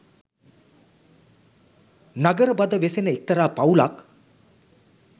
නගරබද වෙසෙන එක්තරා පවුලක්